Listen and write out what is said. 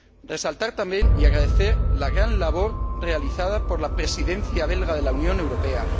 Resaltar, también, y agradecer, la gran labor realizada por la Presidencia belga de la Unión Europea.